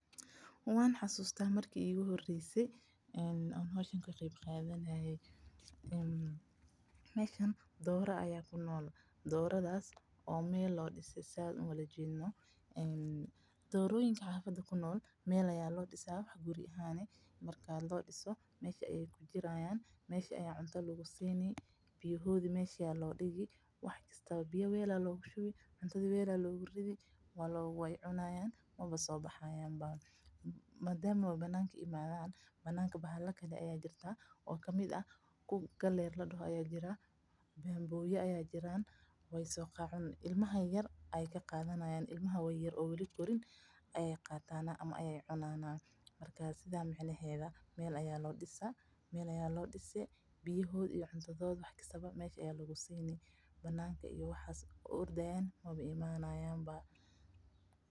Waan xasuusta marki iigu horeyse aan ka qeeb qaadanaye, waxaa muuqda dooro meel loo dise, doroyinka meel aya loo disaa, meeshaas ayaa cuntada iyo biyaha loogu geyna, bananka bahala ayaa joogan oo ilmaha yaryar ka qaadanayan, marka banaanka maba imanayaan ba.